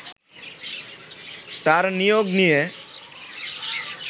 তার নিয়োগ নিয়ে